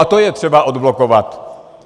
A to je třeba odblokovat.